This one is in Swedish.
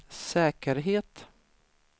säkerhet